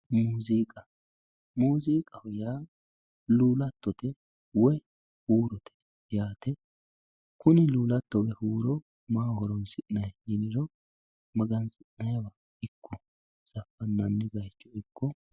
Muziiqa, muziiqaho yaa lulattote woyi huurote yaate kuni lulattonna huuro maaho horonsi'nanni yiniro magansi'nanniwa ikko zafanani bayicho ikko.